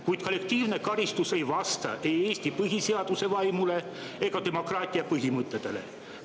Kuid kollektiivne karistus ei vasta ei Eesti põhiseaduse vaimule ega demokraatia põhimõtetele.